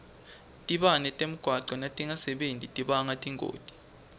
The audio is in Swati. tibane temgwaco natingasebenti tibanga tingoti